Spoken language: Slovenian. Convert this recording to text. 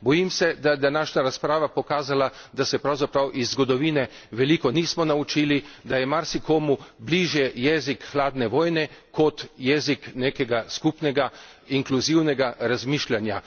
Bojim se, da je današnja razprava pokazala, da se pravzaprav iz zgodovine veliko nismo naučili, da je marsikomu bližje jezik hladne vojne kot jezik nekega skupnega, inkluzivnega razmišljanja.